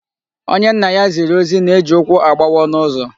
Onye nna ya ziri ohi na-eji ụkwụ agbawa ọnụ ụzọ.